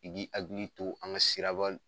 I b'i hakili to an ka sira ba